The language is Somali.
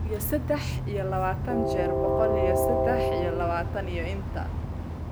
boqol iyo saddex iyo labaatan jeer boqol iyo saddex iyo labaatan iyo inta